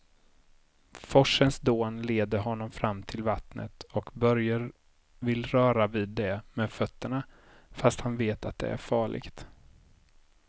Forsens dån leder honom fram till vattnet och Börje vill röra vid det med fötterna, fast han vet att det är farligt.